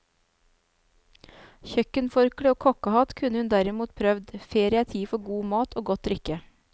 Kjøkkenforkle og kokkehatt kunne hun derimot prøvd, ferie er tid for god mat og godt drikke.